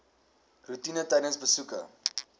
roetine tydens besoeke